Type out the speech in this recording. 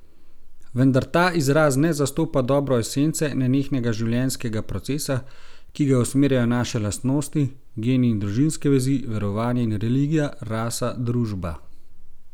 Vendar ta izraz ne zastopa dobro esence, nenehnega življenjskega procesa, ki ga usmerjajo naše lastnosti, geni in družinske vezi, verovanje in religija, rasa, družba.